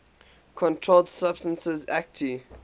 controlled substances acte